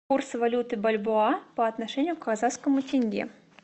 курс валюты бальбоа по отношению к казахскому тенге